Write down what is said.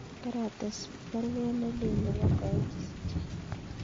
Karates baruet nelelach nebo Koech isiche